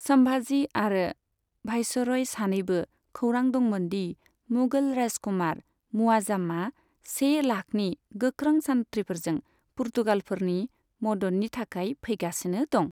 सम्भाजी आरो भायसरय सानैबो खौरां दंमोन दि मुगल राजकुमार मुआज्जामा से लाखनि गोख्रों सान्थ्रिफोरजों पुर्तगालफोरनि मददनि थाखाय फैगासिनो दं।